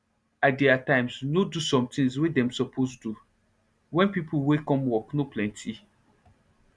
i dey at times nor do some tins wey dem suppose do wen pipo wey come work nor plenty